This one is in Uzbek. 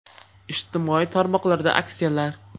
Ijtimoiy tarmoqlarda aksiyalar!